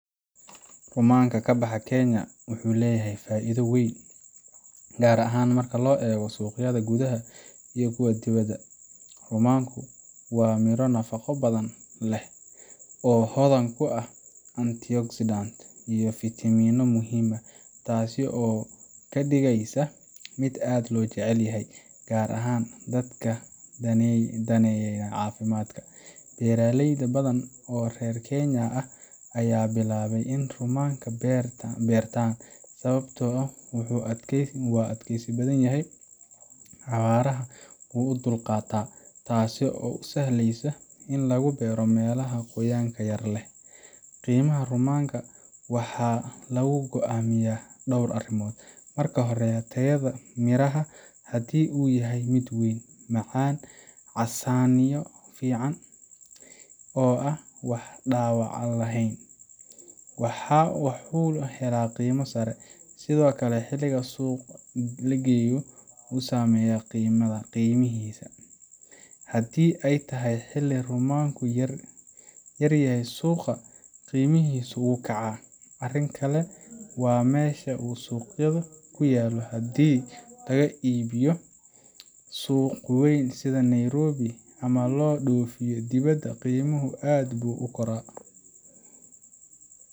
Rumaanka ka baxa Kenya wuxuu leeyahay faa’iido weyn, gaar ahaan marka loo eego suuqyada gudaha iyo kuwa dibadda. Rumaanku waa midho nafaqo badan leh, oo hodan ku ah antioxidants iyo fiitamiinno muhiim ah, taasoo ka dhigaysa mid aad loo jecel yahay, gaar ahaan dadka daneynaya caafimaadka. Beeraley badan oo reer Kenya ah ayaa bilaabay in ay rumaanka beertaan, sababtoo ah wuu adkaysi badan yahay, abaarana wuu u dulqaataa, taasoo u sahlaysa in lagu beero meelaha qoyaanka yar leh. Qiimaha rumaanka waxa lagu go’aamiyaa dhowr arrimood. Marka hore, tayada midhaha haddii uu yahay mid weyn, macaan, casaanyo fiican leh, oo aan wax dhaawac ah lahayn wuxuu helaa qiimo sare. Sidoo kale, xilliga la suuq geeyo wuu saameeyaa qiimaha; haddii ay tahay xilli rumaanku yaryahay suuqa, qiimihiisu wuu kacaa. Arrin kale waa meesha uu suuqyadu ku yaallo haddii lagu iibiyo suuq weyn sida Nairobi ama loo dhoofinayo dibadda, qiimuhu aad buu u kordhaa.